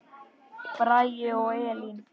Bragi og Elín.